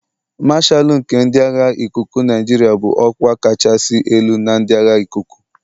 Mashalu nke ndị agha ikuku Nigeria bụ ọkwa kachasị elu na ndị agha ikuku.